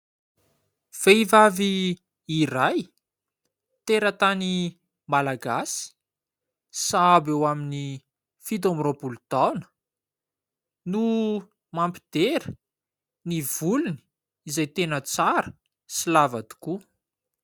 Vehivavy iray teratany Malagasy sahabo eo amin'ny fito amby roampolo taona, no mampidera ny volony izay tena tsara sy lava tokoa.